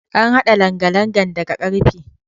An haɗa langalangan daga karfe.